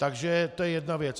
Takže to je jedna věc.